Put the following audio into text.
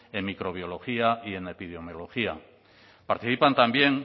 en microbiología y en epidemiología participan también